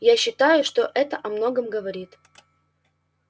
я считаю что это о многом говорит